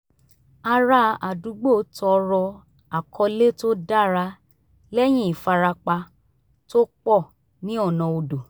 ará àdúgbò tọrọ àkọlé tó dára lẹ́yìn ìfarapa tó pọ̀ ní ọ̀nà odò